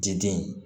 Jeden